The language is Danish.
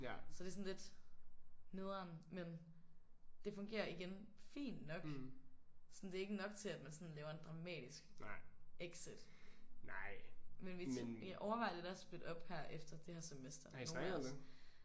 Så det er sådan lidt nederen men det fungerer igen fint nok. Sådan det er ikke nok til at man sådan laver en dramatisk exit. Men vi overvejer lidt at splitte op her efter det her semester nogle af os